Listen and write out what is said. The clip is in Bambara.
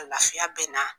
Lafiya bɛ na